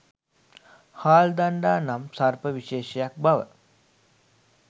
හාල් දණ්ඩා නම් සර්ප විශෙෂයක් බව